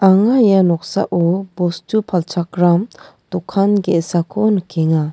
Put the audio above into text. anga ia noksao bostu palchakram dokan ge·sako nikenga.